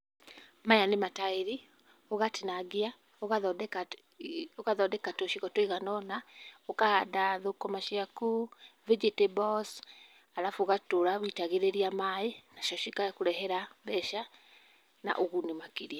Maya nĩ mataĩri, ũgatinangia, ũgathondeka ũgathondeka tũcigo tũiganona, ũkahanda thũkũma ciaku, vegetables, arabu ũgatũra ũitagĩrĩria maĩ, nacio cigakũrehera mbeca na ũguni makĩria.